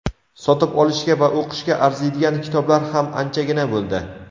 sotib olishga va o‘qishga arziydigan kitoblar ham anchagina bo‘ldi.